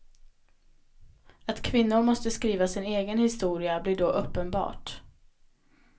Att kvinnor måste skriva sin egen historia blir då uppenbart.